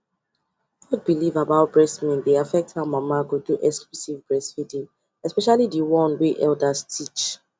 old belief about breast milk dey affect how mama go do exclusive breastfeeding especially the one wey elders teach